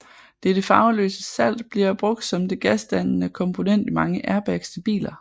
Dette farveløse salt bliver brugt som det gasdannende komponent i mange airbags til biler